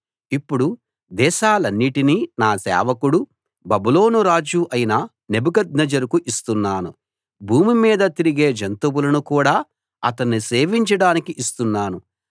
ఇప్పుడు దేశాలన్నిటినీ నా సేవకుడూ బబులోను రాజు అయిన నెబుకద్నెజరుకు ఇస్తున్నాను భూమి మీద తిరిగే జంతువులను కూడా అతణ్ణి సేవించడానికి ఇస్తున్నాను